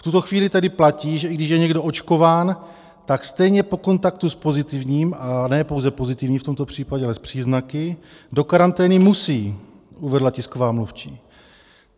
V tuto chvíli tedy platí, že i když je někdo očkován, tak stejně po kontaktu s pozitivním, a ne pouze pozitivním v tomto případě, ale s příznaky, do karantény musí, uvedla tisková mluvčí.